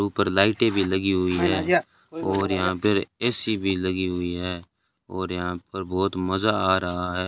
ऊपर लाइटें भी लगी हुई हैं और यहां पर ए_सी भी लगी हुई है और यहां पर बहोत मजा आ रहा है।